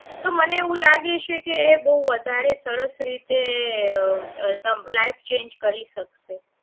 તો મને એવું લાગે છે કે બહુ વધારે સરસ રીતે અ તમ life change કરી શકશે